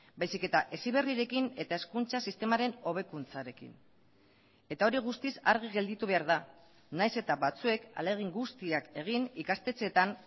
baizik eta heziberrirekin eta hezkuntza sistemaren hobekuntzarekin eta hori guztiz argi gelditu behar da nahiz eta batzuek ahalegin guztiak egin ikastetxeetan